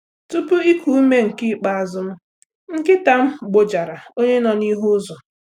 Tupu iku ume nke ikpeazụ m, nkịta m gbojara onye nọ n'ihu ụzọ